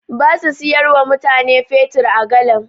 Ba su siyar wa mutane fetur a galan.